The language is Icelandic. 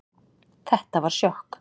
Þetta var sjokk